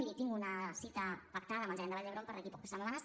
miri tinc una cita pactada amb el gerent de vall d’hebron per d’aquí a poques setmanes